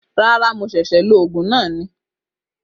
Rárá, Mo ṣẹ̀ṣẹ̀ lo Ògùn na ni